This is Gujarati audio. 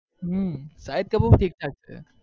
હમ શાહિદકપૂર ઠીકઠાક છે.